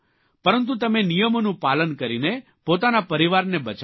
પરંતુ તમે નિયમોનું પાલન કરીને પોતાના પરિવારને બચાવ્યો